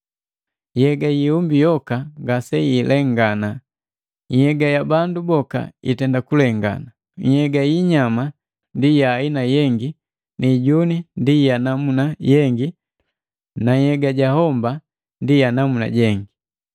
Yega yiihumbi yoka ngaseilengana. Nhnhyega ya bandu boka itenda kulengana, nhyega yii hinyama ndi yaaina jengi ni ijuni ndi yanamuna jengi na nhyega ja homba ndi ja namuna jengi.